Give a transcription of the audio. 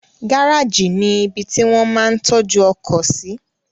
Gáràjì ni ibi tí wón máa ń tọ́jú ọkọ̀ sí